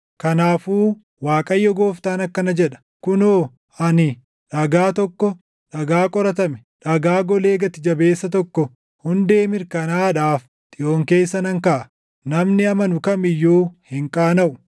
Kanaafuu Waaqayyo Gooftaan akkana jedha; “Kunoo ani dhagaa tokko, dhagaa qoratame, dhagaa golee gati jabeessa tokko hundee mirkanaaʼaadhaaf Xiyoon keessa nan kaaʼa; namni amanu kam iyyuu hin qaanaʼu.